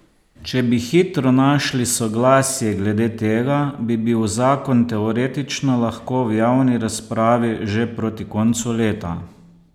Če bi hitro našli soglasje glede tega, bi bil zakon teoretično lahko v javni razpravi že proti koncu leta.